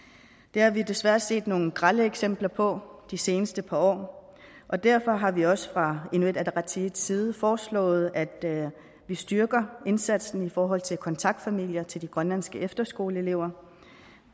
det har vi desværre set nogle grelle eksempler på de seneste par år og derfor har vi også fra inuit ataqatigiits side foreslået at vi styrker indsatsen i forhold til kontaktfamilier til de grønlandske efterskoleelever